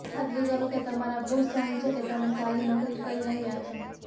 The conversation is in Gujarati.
ખાતરી કરો કે તમારા બોસ જાણે છે કે તમે સારી નોકરી કરી રહ્યા છો